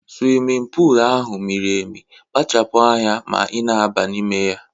Swimin pul ahụ miri emi, kpachapu anya ma ị na-aba n'ime ya!